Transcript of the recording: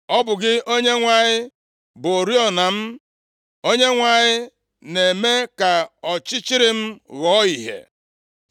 Ọ bụ gị, Onyenwe anyị, bụ oriọna m, Onyenwe anyị na-eme ka ọchịchịrị m ghọọ ìhè.